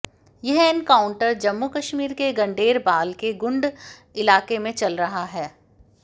यह एनकाउंटर जम्मू कश्मीर के गंडेरबाल के गुंड इलाके में चल रहा है